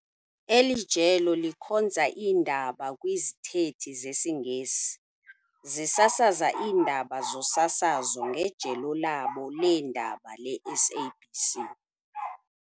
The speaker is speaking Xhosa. Eli jelo likhonza iindaba kwizithethi zesiNgesi, zisasaza iindaba zosasazo ngejelo labo leendaba leSABC.